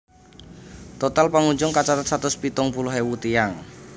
Total pangunjung kacathet satus pitung puluh ewu tiyang